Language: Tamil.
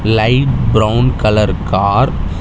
light brown colour car --